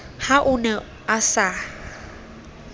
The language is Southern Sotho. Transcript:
ha o ne a sa